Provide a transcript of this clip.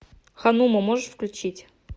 ханума можешь включить